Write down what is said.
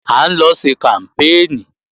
À ń lọ ṣe kàmpéènì